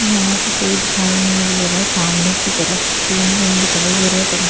यहां पे कोई दिखाई नहीं दे रहा है सामने की तरफ तीन रूम दिखाई दे रहे--